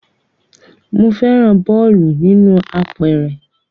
Mo fẹ́ràn bọ́ọ̀lù inú apẹ̀rẹ̀